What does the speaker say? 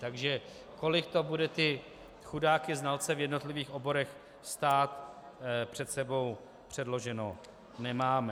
Takže kolik to bude ty chudáky znalce v jednotlivých oborech stát, před sebou předloženo nemáme.